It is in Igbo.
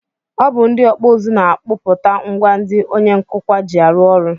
Ọ bụ ndị ọkpụụzụ na-akpụpụta ngwa ndị onye nkụkwa ji arụ ọrụ